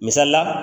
Misali la